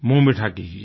मुँह मीठा कीजिये